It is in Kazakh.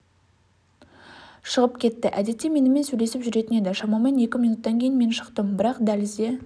шығып кетті әдетте менімен сөйлесіп жүретін еді шамамен екі минуттан кейін мен шықтым бірақ дәлізде